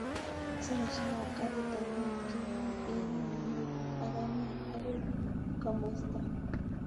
Saishek ap karit ap maat kemong en ole negit ak anee akoi komosta